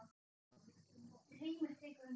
Heimir tekur undir.